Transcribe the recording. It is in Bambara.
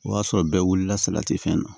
O y'a sɔrɔ bɛɛ wulila salati fɛn na